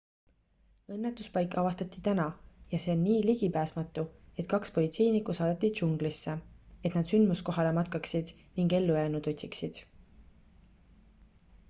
õnnetuspaik avastati täna ja see on nii ligipääsmatu et kaks politseinikku saadeti džunglisse et nad sündmuskohale matkaksid ning ellujäänuid otsiksid